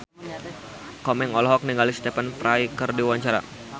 Komeng olohok ningali Stephen Fry keur diwawancara